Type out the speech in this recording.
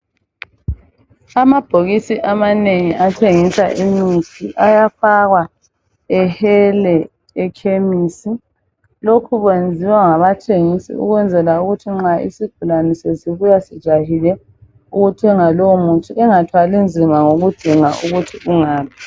Amabhokisi amanengi athengisa imithi ayafakwa ehele ekhemesi. Lokhu kwenziwa ngabathengisi ukwenzela ukuthi nxa isigulane sesibuya sijahile ukuthenga lowo muthi engathwali nzima ngokudinga ukuthi ungaphi.